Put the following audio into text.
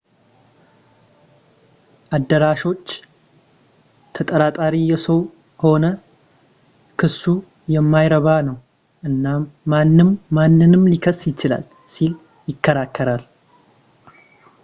አዳራሾች ተጠራጣሪ የሆነ ሰው ክሱ የማይረባ ነው እናም ማንም ማንንም ሊከስ ይችላል ሲል ይከራከራል